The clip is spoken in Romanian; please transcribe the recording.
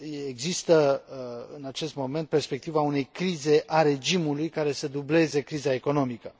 Există, în acest moment, perspectiva unei crize a regimului, care să dubleze criza economică.